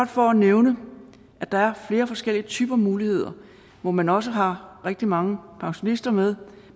for at nævne at der er flere forskellige typer muligheder hvor man også har rigtig mange pensionister med